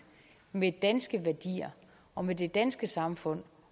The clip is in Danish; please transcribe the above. med danske værdier og med det danske samfund